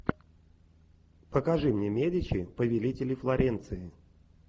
покажи мне медичи повелители флоренции